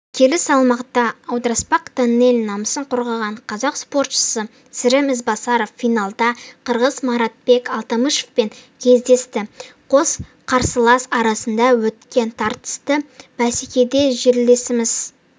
келі салмақта аударыспақтанел намысын қорғаған қазақ спортшысы сырым ізбасаров финалда қырғыз маратбек алтымышевпен кездесті қос қарсылас арасында өткен тартысты бәсекеде жерлесіміз